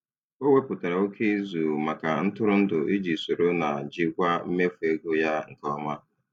O wepụtara oke izu maka ntụrụndụ iji soro na jikwaa mmefu ego ya nke ọma.